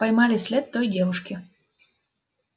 поймали след той девушки